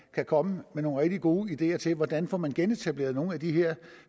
kan komme med nogle rigtig gode ideer til hvordan man får genetableret nogle af de her